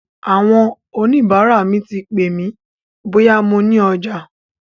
Àwọn oníbàárà mi ti pè mí bóyá mo ní ọjà.